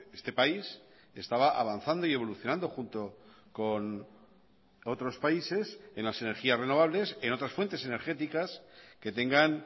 este país estaba avanzando y evolucionando junto con otros países en las energías renovables en otras fuentes energéticas que tengan